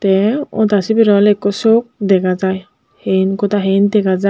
te ota sibere awle ekko sok dega jai hen goda hen dega jar.